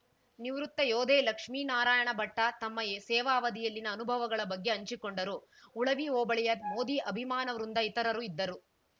ನಿವೃತ್ತ ಯೋಧೇ ಲಕ್ಷ್ಮೇನಾರಾಯಣಭಟ್ಟತಮ್ಮ ಸೇವಾ ಅವಧಿಯಲ್ಲಿನ ಅನುಭವಗಳ ಬಗ್ಗೆ ಹಂಚಿಕೊಂಡರು ಉಳವಿ ಹೋಬಳಿಯ ಮೋದಿ ಅಭಿಮಾನವೃಂದ ಇತರರು ಇದ್ದರು